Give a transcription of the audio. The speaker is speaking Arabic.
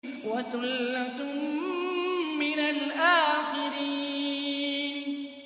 وَثُلَّةٌ مِّنَ الْآخِرِينَ